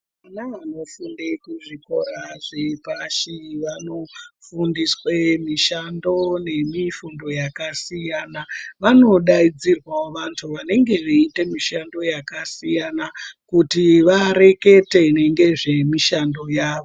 Vana vanofunde kuzvikora zvepashi vanofundiswe mishando nemifundo yakasiyana vanodaidzirwawo vantu vanenge veiite mishando yakasiyana kuti varekete ngezvemishando yavo.